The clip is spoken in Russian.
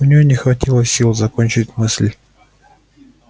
у неё не хватило сил закончить мысль